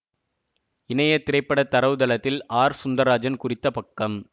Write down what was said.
இணைய திரைப்பட தரவுதளத்தில் ஆர் சுந்தர்ராஜன் குறித்த பக்கம்